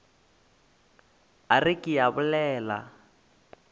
a re ke a bolela